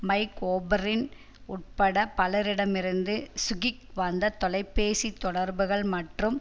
mic ஒபரின் உள்பட பலரிடமிருந்து சுகிக் வந்த தொலைபேசித் தொடர்புகள் மற்றும்